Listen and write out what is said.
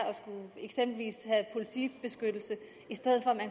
eksempelvis at have politibeskyttelse i stedet